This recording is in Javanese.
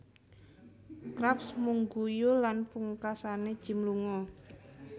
Krabs mung guyu lan pungkasane Jim lunga